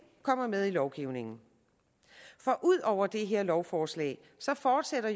kommer med i lovgivningen for ud over det her lovforslag fortsætter